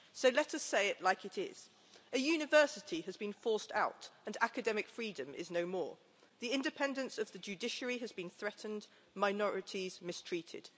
So let us say it like it is a university has been forced out and academic freedom is no more, the independence of the judiciary has been threatened, minorities mistreated.